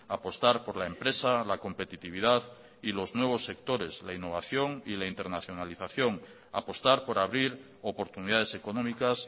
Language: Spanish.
apostar por la empresa la competitividad y los nuevos sectores la innovación y la internacionalización apostar por abrir oportunidades económicas